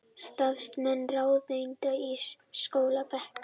Starfsmenn ráðuneyta á skólabekk